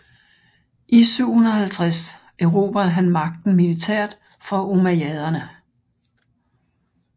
I 750 erobrede han magten militært fra ummayaderne